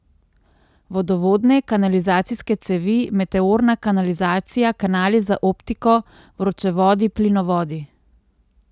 Vodovodne, kanalizacijske cevi, meteorna kanalizacija, kanali za optiko, vročevodi, plinovodi.